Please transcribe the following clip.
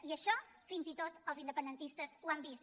i això fins i tot els independentistes ho han vist